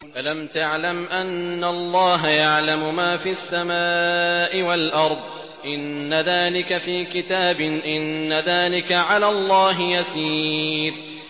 أَلَمْ تَعْلَمْ أَنَّ اللَّهَ يَعْلَمُ مَا فِي السَّمَاءِ وَالْأَرْضِ ۗ إِنَّ ذَٰلِكَ فِي كِتَابٍ ۚ إِنَّ ذَٰلِكَ عَلَى اللَّهِ يَسِيرٌ